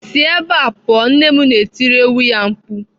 "Sie ebe a pụọ! " Nne m na-etiri ewu ya mkpu.